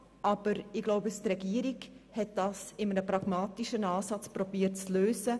Aber ich glaube, die Regierung hat das in einem pragmatischen Ansatz zu lösen versucht.